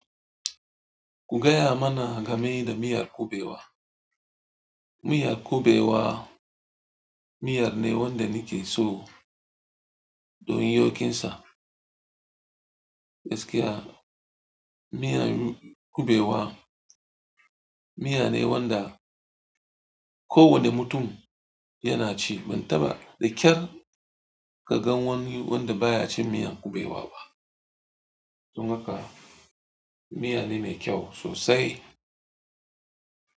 Ku gaya mana game da miyar kuɓewa. Miyar kuɓewa miya ne wanda na ke so don yokin sa. Gaskiya miyar kuɓewa miya ne wanda kowane mutum yana ci. Ban taba da kyar ka gan wani wanda baya cin miyan kuɓewa ba. Tun haka miya ne mai kyau sosai.